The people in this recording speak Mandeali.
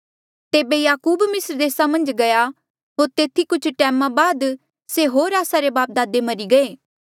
तेबे याकूब मिस्र देसा मन्झ गया होर तेथी कुछ टैमा बाद से होर आस्सा रे बापदादे मरी गये